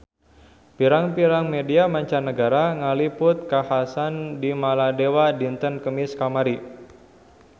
Pirang-pirang media mancanagara ngaliput kakhasan di Maladewa dinten Kemis kamari